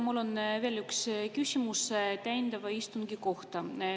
Mul on veel üks küsimus täiendava istungi kohta.